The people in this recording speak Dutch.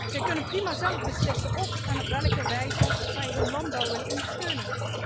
Zij kunnen prima zelf beslissen óf en op welke wijze zij hun landbouw willen ondersteunen.